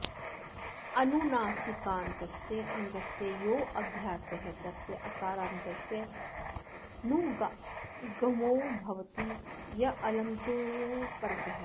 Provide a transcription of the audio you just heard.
अनुनासिकान्तस्य अङ्गस्य यो ऽभ्यासः तस्य अकारान्तस्य नुगागमो भवति यङ्यङ्लुकोः परतः